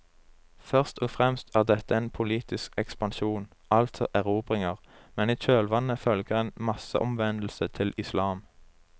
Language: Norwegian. Først og fremst er dette en politisk ekspansjon, altså erobringer, men i kjølvannet følger en masseomvendelse til islam.